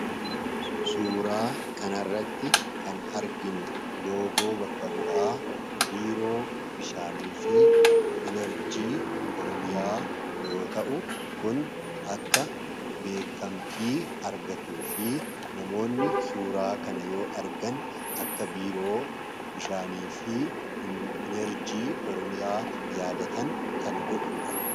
Suuraa kana irratti kan arginu loogoo bakka bu'aa Biiroo Bishaanii fi Inerjii Oromiyaa yoo ta'u kun akka beekkamtii argatu fi namoonni suuraa kana yoo argan akka Biiroo Bishaanii fi Inerjii Oromiyaa yaadatan kan godhuudha.